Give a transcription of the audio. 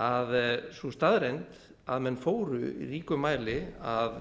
að sú staðreynd að menn fóru í ríkum mæli að